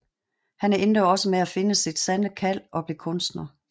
Han endte også med at finde sit sande kald og blev kunstner